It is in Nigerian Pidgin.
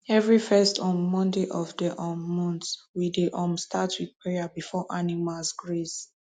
every first um monday of the um month we dey um start with prayer before animals graze